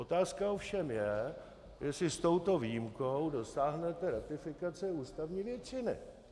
Otázka ovšem je, jestli s touto výjimkou dosáhnete ratifikace ústavní většiny.